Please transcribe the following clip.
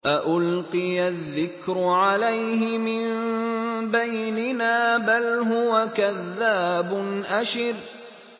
أَأُلْقِيَ الذِّكْرُ عَلَيْهِ مِن بَيْنِنَا بَلْ هُوَ كَذَّابٌ أَشِرٌ